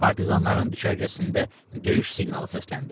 Partizanların düşərgəsində döyüş siqnalı səsləndi.